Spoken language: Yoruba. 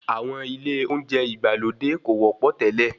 Àwọn ilé oúnjẹ ìgbàlódé kò wọ́pọ̀ tele.